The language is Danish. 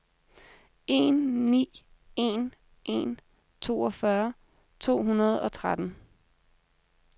en ni en en toogfyrre to hundrede og tretten